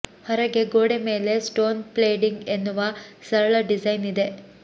ಹೊರಗೆ ಗೋಡೆ ಮೇಲೆ ಸ್ಟೋನ್ ಫ್ಲೇಡಿಂಗ್ ಎನ್ನುವ ಸರಳ ಡಿಸೈನ್ ಇದೆ